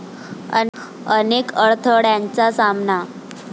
अनेक अडथळय़ांचा सामना